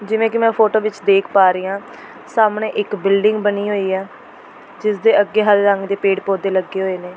ਜਿਵੇਂ ਕਿ ਮੈਂ ਫੋਟੋ ਵਿਚ ਦੇਖ ਪਾ ਰਹੀਂ ਹਾਂ ਸਾਹਮਣੇ ਇੱਕ ਬਿਲਡਿੰਗ ਬਣੀ ਹੋਈ ਹੈ ਜਿਸ ਦੇ ਅੱਗੇ ਹਰੇ ਰੰਗ ਦੇ ਪੇੜ-ਪੌਦੇ ਲੱਗੇ ਹੋਏ ਨੇ।